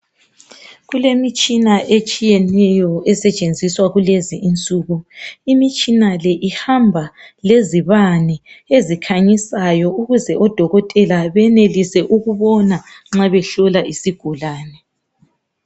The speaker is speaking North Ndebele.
Kulemitshina etshiyeneyo esetshenziswa kulezinsuku. Imitshina le ihamba lezibane ezikhanyisayo ukuze odokotela benelise ukubona nxa behlola isigulane.